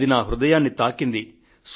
అది నా హృదయాన్ని తాకింది